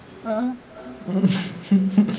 ആഹ്